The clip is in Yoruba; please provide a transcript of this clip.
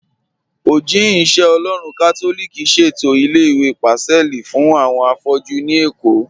Ojihìn-ìṣẹ-Ọlọ́run Katolíkì ṣẹ̀tọ ilẹ̀-ìwé Pacelli fún awọn afọ̀jú ní Ékó